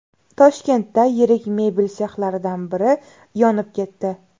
Toshkentda yirik mebel sexlaridan biri yonib ketdi.